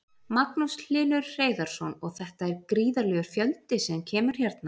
Magnús Hlynur Hreiðarsson: Og þetta er gríðarlegur fjöldi sem kemur hérna?